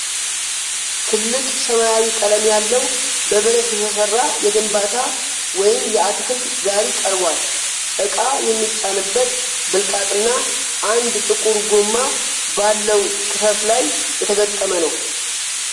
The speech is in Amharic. ጥልቅ ሰማያዊ ቀለም ያለው፣ በብረት የተሰራ የግንባታ ወይም የአትክልት ጋሪ ቀርቧል። ዕቃ የሚጫንበት ብልቃጥና አንድ ጥቁር ጎማ ባለው ክፈፍ ላይ የተገጠመ ነው።